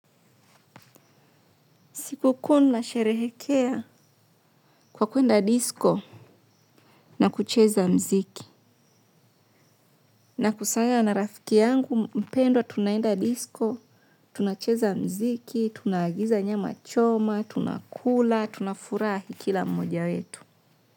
Siku kuu nasherehekea kwa kwenda disco na kucheza muziki. Nakusanywa na rafiki yangu mpendwa tunaenda disco, tunacheza muziki, tunaagiza nyama choma, tunakula, tunafurahi kila mmoja wetu.